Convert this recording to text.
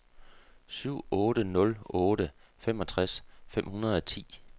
syv otte nul otte femogtres fem hundrede og ti